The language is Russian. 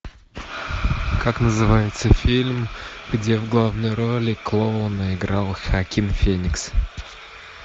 как называется фильм где в главной роли клоуна играл хоакин феникс